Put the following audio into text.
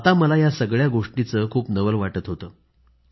आता मला या सगळ्या गोष्टीचं खूपच नवल वाटत होतं